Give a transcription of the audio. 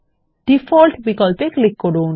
default বিকল্পে click করুন